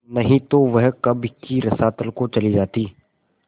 नहीं तो वह कब की रसातल को चली जाती